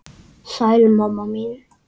Sæl, mamma mín.